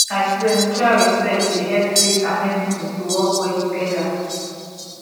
i swear mutual respect dey hep faith and medicine to work well togeda